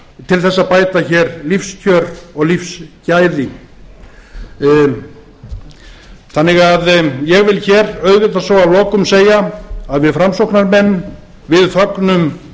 til þess að bæta hér lífskjör og lífsgæði þannig að ég vil hér auðvitað svo að lokum segja að við framsóknarmenn við fögnum